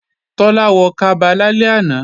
Tọ́lá wọ kaba lálẹ́ àná